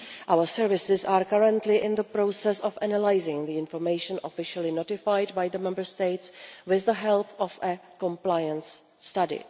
Our services are currently in the process of analysing the information officially notified by the Member States, with the help of a compliance study.